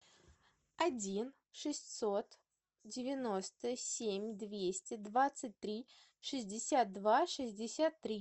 один шестьсот девяносто семь двести двадцать три шестьдесят два шестьдесят три